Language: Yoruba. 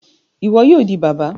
Iwọ yoo di baba!